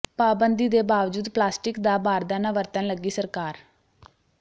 ਪਾਬੰਦੀ ਦੇ ਬਾਵਜੂਦ ਪਲਾਸਟਿਕ ਦਾ ਬਾਰਦਾਨਾ ਵਰਤਣ ਲੱਗੀ ਸਰਕਾਰ